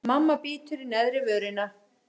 Mamma bítur í neðri vörina.